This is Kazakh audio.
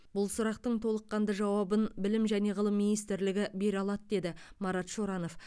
бұл сұрақтың толыққанды жауабын білім және ғылым министрлігі бере алады деді марат шоранов